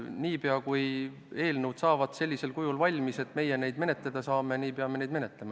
Niipea, kui eelnõud saavad sellisel kujul valmis, et meie neid menetleda saame, niipea hakkame neid menetlema.